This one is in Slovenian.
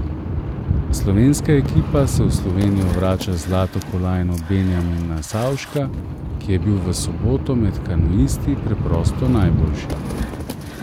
Slovenska ekipa se v Slovenijo vrača z zlato kolajno Benjamina Savška, ki je bil v soboto med kanuisti preprosto najboljši.